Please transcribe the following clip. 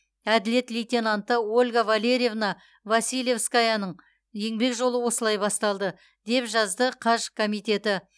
әділет лейтенанты ольга валерьевна василевскаяның еңбек жолы осылай басталды деп жазды қаж комитеті